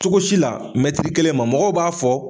Cogo si la kelen ma mɔgɔw b'a fɔ